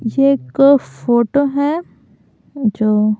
ये एक फोटो है जो--